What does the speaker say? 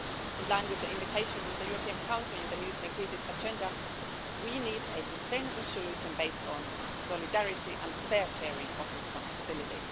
In line with the invitation from the European Council in the new Strategic Agenda, we need a sustainable solution based on solidarity and fair sharing of responsibility.